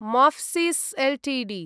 Mphasis Ltd